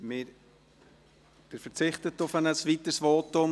Sie verzichten auf ein weiteres Votum.